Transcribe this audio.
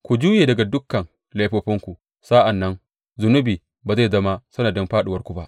Ku juye daga dukan laifofinku; sa’an nan zunubi ba zai zama sanadin fāɗuwarku ba.